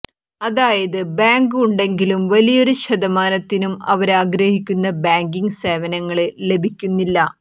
അതായത് ബാങ്ക് ഉണ്ടെങ്കിലും വലിയൊരു ശതമാനത്തിനും അവരാഗ്രഹിക്കുന്ന ബാങ്കിങ്ങ് സേവനങ്ങള് ലഭിക്കുന്നില്ല